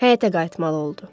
Həyətə qayıtmalı oldu.